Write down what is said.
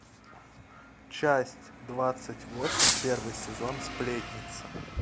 часть двадцать восемь первый сезон сплетница